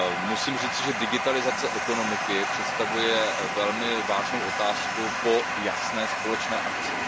Musím říci, že digitalizace ekonomiky představuje velmi vážnou otázku po jasné společné akci.